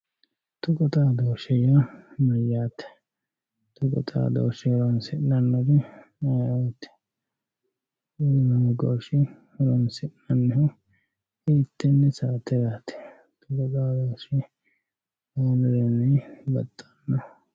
Tuqqu xaadoahe yaa mayate tuqqu xaadoshe horonsinanihu ayiooti tuqqu xaadoshe horonsinanihu hiitene saterat kuni wolurini baxxano